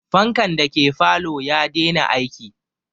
Fankan dake falo ya dena aiki